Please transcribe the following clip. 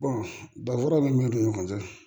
danfara min b'u ni ɲɔgɔn cɛ